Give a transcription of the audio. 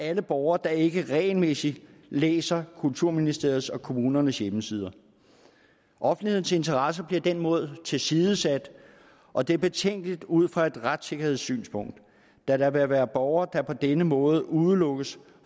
alle borgere der ikke regelmæssigt læser kulturministeriets og kommunernes hjemmesider offentlighedens interesse bliver på den måde tilsidesat og det er betænkeligt ud fra et retssikkerhedssynspunkt da der vil være borgere der på denne måde udelukkes